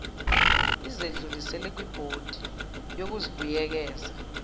izedlulisele kwibhodi yokubuyekeza